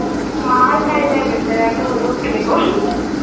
মাৰ খাই যায় বেচেৰাটো হলেও খেলিব